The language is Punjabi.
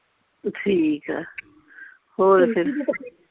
ਠੀਕ ਆ ਹੋਰ ਫਿਰ